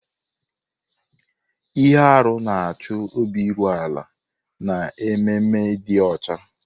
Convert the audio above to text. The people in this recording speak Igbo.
Ihe arụ na-achọ obi iru ala na ememe ịdị ọcha.